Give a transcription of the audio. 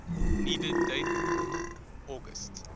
needed date august